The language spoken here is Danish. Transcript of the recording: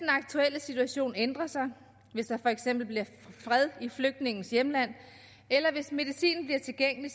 aktuelle situation ændrer sig hvis der for eksempel bliver fred i flygtningens hjemland eller hvis medicin bliver tilgængelig